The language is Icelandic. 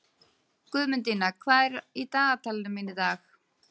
Guðmundína, hvað er í dagatalinu mínu í dag?